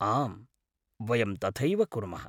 आम्, वयं तथैव कुर्मः।